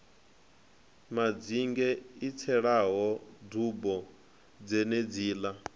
madzinge i tselaho dubo dzenedziḽa